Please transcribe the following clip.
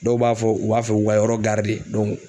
Dɔw b'a fɔ u b'a fɛ k'u ka yɔrɔ